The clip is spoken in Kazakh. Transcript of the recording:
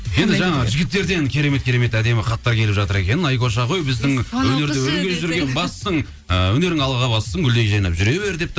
енді жаңа жігіттерден керемет керемет әдемі хаттар келіп жатыр екен айкоша ғой біздің ы өнерің алға бассын гүлдей жайнап жүре бер депті